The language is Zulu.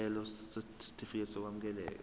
isicelo sesitifikedi sokwamukeleka